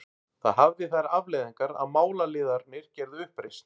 Það hafði þær afleiðingar að málaliðarnir gerðu uppreisn.